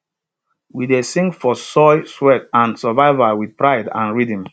we dey sing for soil sweat and survival wit pride and rhythm